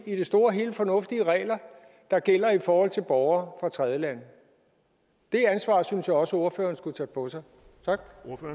i det store og hele fornuftige regler der gælder i forhold til borgere fra tredjelande det ansvar synes jeg også ordføreren skulle tage på sig tak